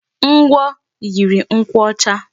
Ngwọ yiri nkwụ ọcha.